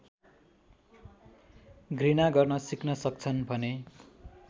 घृणा गर्न सिक्न सक्छन् भने